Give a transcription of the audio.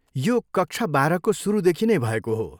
यो कक्षा बाह्रको सुरुदेखि नै भएको हो।